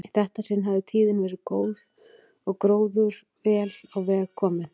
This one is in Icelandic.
Í þetta sinn hafði tíðin verið góð og gróður vel á veg kominn.